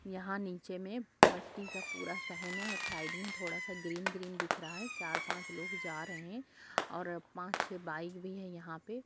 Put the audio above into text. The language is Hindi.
यहाँ नीचे में मट्टी का पूरा सहेने और साइड में थोड़ा सा ग्रीन ग्रीन दिख रहा है। चार पांच लोग जा रहे हैं और पांच छे बाइक भी है यहाँ पे ।